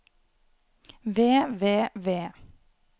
ved ved ved